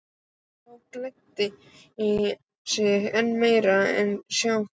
Þó gleddi það sig enn meir að sjá fólkið.